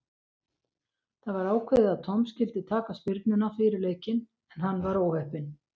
Það var ákveðið að Tom skyldi taka spyrnuna fyrir leikinn en hann var óheppinn.